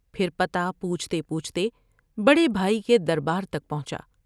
پھر پتہ پوچھتے پوچھتے بڑے بھائی کے دربار تک پہنچا ۔